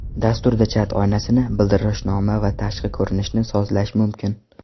Dasturda chat oynasini, bildirishnoma va tashqi ko‘rinishni sozlash mumkin.